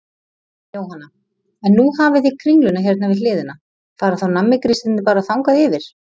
Jóhanna: En nú hafið þið Kringluna hérna við hliðina, fara þá nammigrísirnir bara þangað yfir?